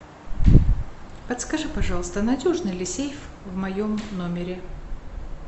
подскажи пожалуйста надежный ли сейф в моем номере